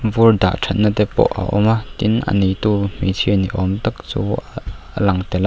vur dah that na te pawh a awm a tin a neitu hmeichhia ni awm tak chu a lang tel a.